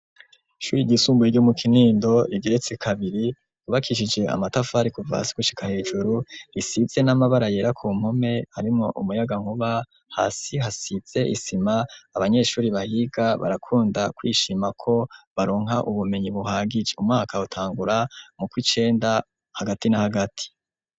Ishuri ryisumbuye ryo mu Kinindo igeretse kabiri ryubakishije amatafari kuva hasi gushika hejuru, risize n'amabara yera ku mpume harimwo umuyankuba, hasi hasize isima, abanyeshuri bahiga barakunda kwishima ko baronka ubumenyi buhagije, umwaka utangura mu kwicenda hagati n'ahagati.